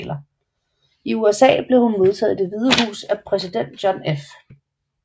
I USA blev hun modtaget i Det Hvide Hus af præsident John F